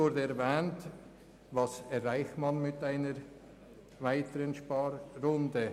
Was erreicht man mit einer weiteren Sparrunde?